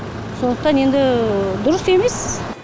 сондықтан енді дұрыс емес